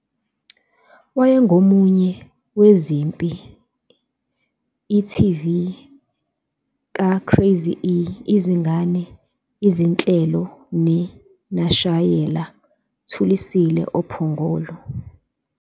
Wayengomunye zezimpi e.tv ka- Craz-e izingane izinhlelo ne nashayela Thulisile oPhongolo.